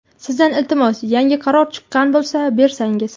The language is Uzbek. Sizdan iltimos yangi qaror chiqqan bo‘lsa bersangiz.